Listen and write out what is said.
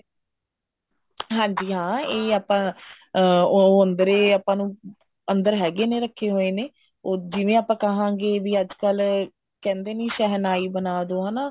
ਹਾਂਜੀ ਹਾਂ ਇਹ ਆਪਾਂ ਉਹ ਉਹ ਅੰਦਰੇ ਆਪਾਂ ਨੂੰ ਅੰਦਰ ਹੈਗੇ ਨੇ ਰੱਖੇ ਹੋਏ ਨੇ ਉਹ ਜਿਵੇਂ ਆਪਾਂ ਕਹਾਂਗੇ ਵੀ ਅੱਜਕਲ ਕਹਿੰਦੇ ਨੀ ਵੀ ਸ਼ਹਿਨਾਈ ਬਣਾਦੋ ਹਨਾ